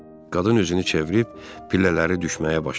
Qadın özünü çevirib pillələri düşməyə başladı.